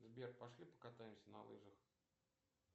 сбер пошли покатаемся на лыжах